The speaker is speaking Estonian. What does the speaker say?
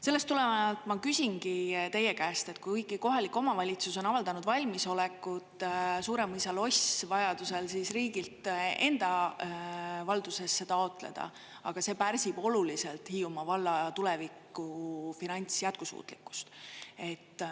Sellest tulenevalt ma küsingi teie käest, et kuigi kohalik omavalitsus on avaldanud valmisolekut Suuremõisa loss vajadusel riigilt enda valdusesse taotleda, aga see pärsib oluliselt Hiiumaa valla tuleviku finantsjätkusuutlikkust.